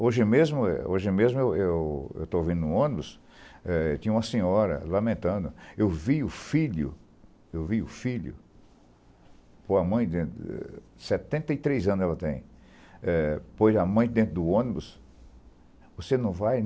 Hoje mesmo hoje mesmo eu eu eu estou vindo no ônibus, eh tinha uma senhora lamentando, eu vi o filho, eu vi o filho com a mãe dentro, setenta e três anos ela tem, põe a mãe dentro do ônibus, você não vai?